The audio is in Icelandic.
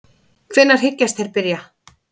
En hvenær hyggjast þeir byrja?